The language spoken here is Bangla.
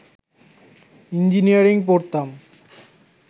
ইঞ্জিনিয়ারিং পড়তাম